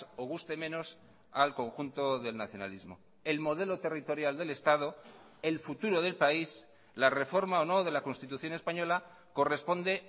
o guste menos al conjunto del nacionalismo el modelo territorial del estado el futuro del país la reforma o no de la constitución española corresponde